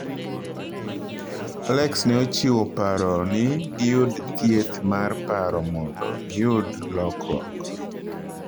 Alex ne ochiwo paro ni giyud thieth mar paro mondo giyud lokruok